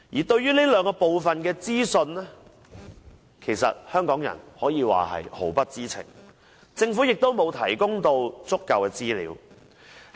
對於這兩部分的資料，香港人毫不知情，政府亦沒有提供足夠資料。